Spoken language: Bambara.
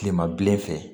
Tilema bilen fɛ